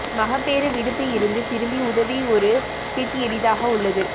மகப்பேறு விடுப்பு இருந்து திரும்பி உதவி ஒரு பிட் எளிதாக உள்ளது